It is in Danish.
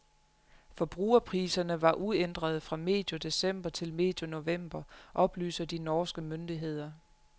Forbrugerpriserne var uændrede fra medio december til medio november, oplyser de norske myndigheder.